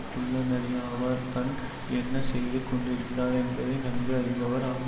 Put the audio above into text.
குள்ள நரியாவார் தன் என்ன செய்து கொண்டிருக்கிறார் என்பதை நன்கு அறிந்தவர் ஆவா